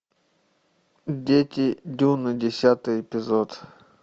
дети дюны десятый эпизод